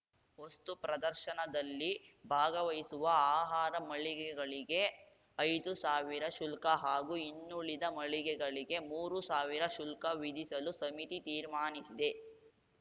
ವಸ್ತು ಪ್ರದರ್ಶನದಲ್ಲಿ ಭಾಗವಹಿಸುವ ಆಹಾರ ಮಳಿಗೆಗಳಿಗೆ ಐದು ಸಾವಿರ ಶುಲ್ಕ ಹಾಗೂ ಇನ್ನುಳಿದ ಮಳಿಗೆಗಳಿಗೆ ಮೂರು ಸಾವಿರ ಶುಲ್ಕ ವಿಧಿಸಲು ಸಮಿತಿ ತೀರ್ಮಾನಿಸಿದೆ